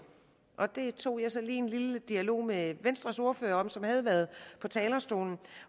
og det tog jeg så lige en lille dialog om med venstres ordfører som havde været på talerstolen